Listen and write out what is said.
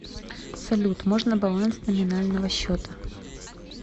салют можно баланс номинального счета